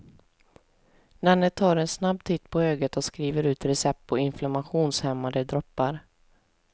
Denne tar en snabb titt på ögat och skriver ut recept på inflammationshämmande droppar.